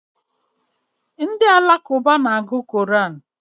Ndị Alakụba na eji Koran